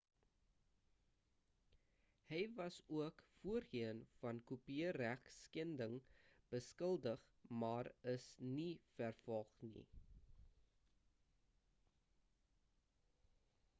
hy was ook voorheen van kopieregskending beskuldig maar is nie vervolg nie